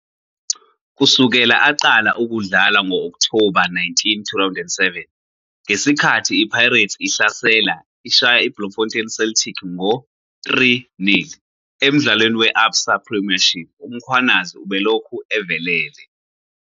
Kusukela aqala ukudlala ngo-Okthoba 19, 2007 - ngesikhathi iPirates ihlasela, ishaya iBloemfontein Celtic ngo 3-0 emdlalweni we-ABSA Premiership -uMkhwanazi ubelokhu evelele.